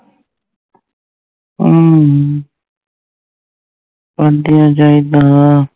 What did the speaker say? ਅਮ ਭਾਂਡਿਆਂ ਚਾਹੀਦਾ